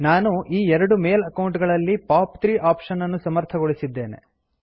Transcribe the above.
ನಾನು ಈ ಎರಡು ಮೇಲ್ ಅಕೌಂಟ್ ಗಳಲ್ಲಿ ಪಾಪ್ 3 ಆಪ್ಶನ್ ಅನ್ನು ಸಮರ್ಥಗೊಳಿಸಿದ್ದೇನೆ